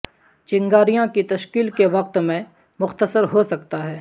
چنگاریاں کی تشکیل کے وقت میں مختصر ہو سکتا ہے